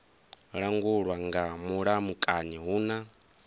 langulwa nga mulamukanyi hu na